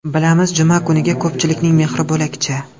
Bilamiz, juma kuniga ko‘pchilikning mehri bo‘lakcha.